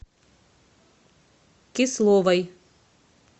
кисловой